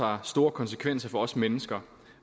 har store konsekvenser for os mennesker